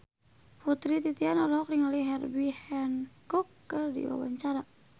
Putri Titian olohok ningali Herbie Hancock keur diwawancara